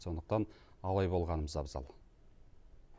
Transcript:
сондықтан абай болғанымыз абзал